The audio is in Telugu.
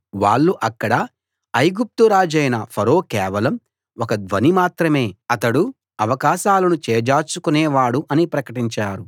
వాళ్ళు అక్కడ ఐగుప్తు రాజైన ఫరో కేవలం ఒక ధ్వని మాత్రమే అతడు అవకాశాలను చేజార్చుకునే వాడు అని ప్రకటించారు